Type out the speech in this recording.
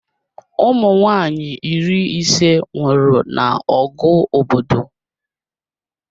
Ụmụnwaanyị iri ise nwụrụ na ọgụ obodo